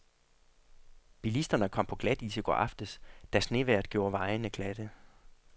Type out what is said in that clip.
Bilisterne kom på glatis i går aftes, da snevejret gjorde vejene glatte.